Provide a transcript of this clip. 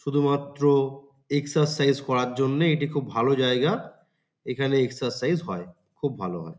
শুধুমাত্র এক্সারসাইজ করার জন্যে এটি খুব ভালো জায়গা। এখানে এক্সারসাইজ হয় খুব ভালো হয়।